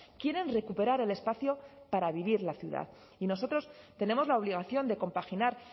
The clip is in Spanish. quieren recuperar el espacio para vivir la ciudad y nosotros tenemos la obligación de compaginar